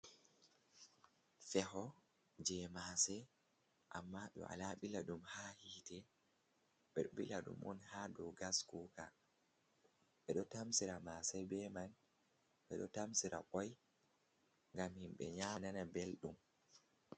Feho je masse, amma ɓewala ɓilaɗum ha hite ɓeɗo ɓilaɗum on ha dow gas kuka, ɓeɗo tamsira masse be man ɓeɗo tamsira bo ngam himɓe nyama nana Belɗum.